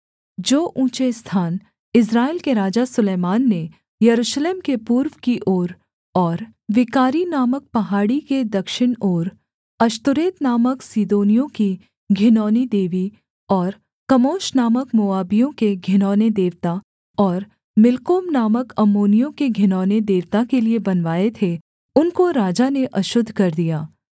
जो ऊँचे स्थान इस्राएल के राजा सुलैमान ने यरूशलेम के पूर्व की ओर और विकारी नामक पहाड़ी के दक्षिण ओर अश्तोरेत नामक सीदोनियों की घिनौनी देवी और कमोश नामक मोआबियों के घिनौने देवता और मिल्कोम नामक अम्मोनियों के घिनौने देवता के लिये बनवाए थे उनको राजा ने अशुद्ध कर दिया